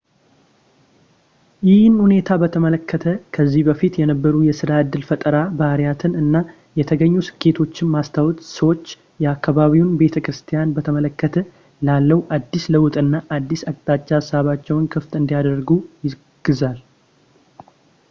ይህን ሁኔታ በተመለከተ ከዚህ በፊት የነበሩ የስራ ዕድል ፈጠራ ባህሪያትን እና የተገኙ ስኬቶች ማስታወስ ሰዎች የአካባቢው ቤተክርስትያን በተመለከተ ላለው አዲስ ለውጥና አዲስ አቅጣጫ ሀሳባቸውን ክፍት እንዲያደርጉ ያግዛል